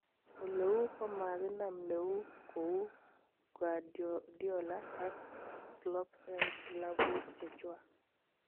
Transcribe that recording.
Oleuu Komaginam neeun kou Guardiola ak Klopp en Klabu chechwak.